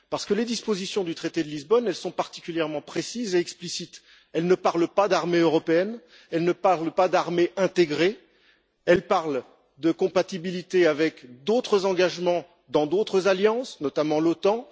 Parce que les dispositions du traité de Lisbonne sont particulièrement précises et explicites elles ne parlent pas d'armée européenne ni d'armée intégrée, elles parlent de compatibilité avec d'autres engagements dans d'autres alliances, notamment l'OTAN.